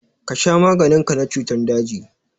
Ka sha maganin ka na cutan daji!